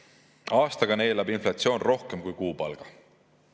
Aastaga neelab inflatsioon rohkem kui kuupalga.